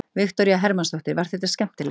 Viktoría Hermannsdóttir: Var þetta skemmtilegt?